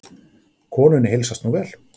Konunni heilsast nú vel.